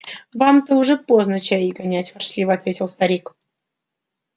вам-то уже поздно чаи гонять ворчливо ответил старик